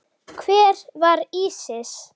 Hver var Ísis?